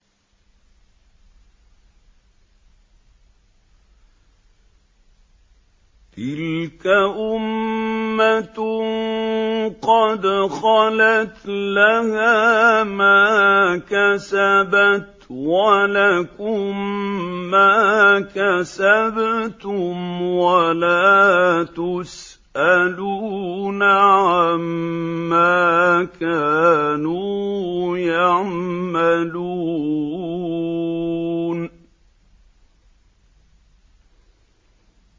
تِلْكَ أُمَّةٌ قَدْ خَلَتْ ۖ لَهَا مَا كَسَبَتْ وَلَكُم مَّا كَسَبْتُمْ ۖ وَلَا تُسْأَلُونَ عَمَّا كَانُوا يَعْمَلُونَ